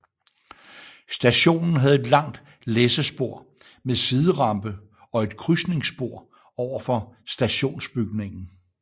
Stationen havde et langt læssespor med siderampe og et krydsningsspor overfor stationsbygningen